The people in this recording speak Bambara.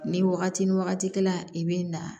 Ni wagati ni wagati la i bɛ na